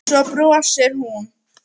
Svo brosir hún.